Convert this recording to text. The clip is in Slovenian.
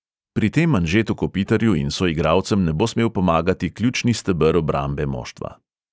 Pri tem anžetu kopitarju in soigralcem ne bo smel pomagati ključni steber obrambe moštva.